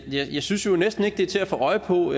synes jo næsten ikke at det er til at få øje på